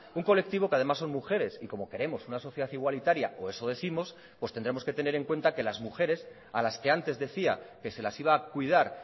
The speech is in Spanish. un colectivo que además son mujeres y como queremos una sociedad igualitaria o eso décimos pues tendremos que tener en cuenta que las mujeres a las que antes decía que se las iba a cuidar